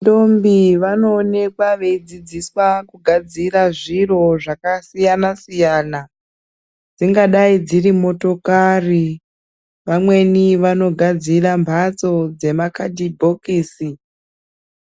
Ndombi vanoonekwa veidzidziswa kugadzira zviro zvakasiyana siyana. Dzingadai dziri motokari. Vamweni vanogadzira mbatso dzemakadhibhokisi